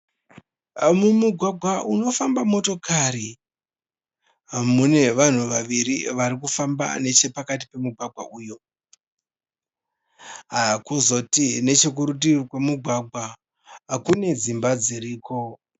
Mumugwagwa unofamba motokari. Mune vanhu vaviri vari kufamba nechepakati pomugwagwa uyu. Kozoti nechekurutivi kwemugwagwa kune dzimba dziriko.